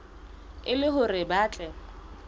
e le hore ba tle